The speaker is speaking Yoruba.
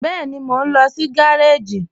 Bẹẹni, mọ̀ n lọ sí gàràjì.